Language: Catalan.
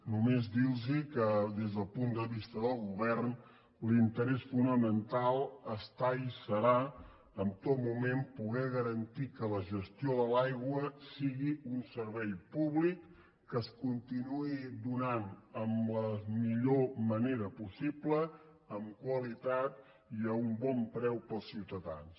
només dir los que des del punt de vista del govern l’interès fonamental està i serà en tot moment poder garantir que la gestió de l’aigua sigui un servei públic que es continuï donant de la millor manera possible amb qualitat i a un bon preu per als ciutadans